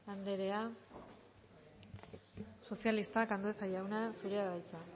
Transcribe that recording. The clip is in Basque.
anderea sozialistak andueza jauna zurea da hitza